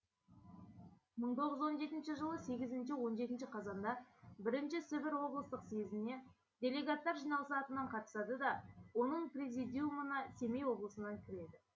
мың тоғыз жүз он жетінші жылы сегізінші он жетінші қазанда бірінші сібір облыстық съезіне делегаттар жиналысы атынан қатысады да оның президиумына семей облысынан кіреді